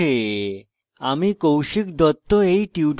আমি কৌশিক দত্ত এই টিউটোরিয়ালটি অনুবাদ করেছি